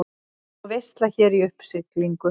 Og veisla hér í uppsiglingu.